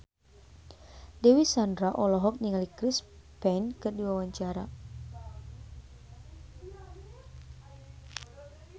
Dewi Sandra olohok ningali Chris Pane keur diwawancara